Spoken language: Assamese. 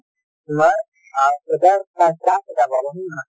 তোমাৰ অ পাব হয় নে নহয়?